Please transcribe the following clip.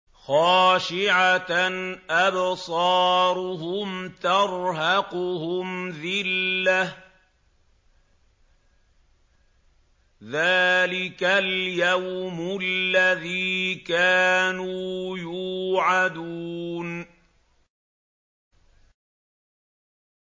خَاشِعَةً أَبْصَارُهُمْ تَرْهَقُهُمْ ذِلَّةٌ ۚ ذَٰلِكَ الْيَوْمُ الَّذِي كَانُوا يُوعَدُونَ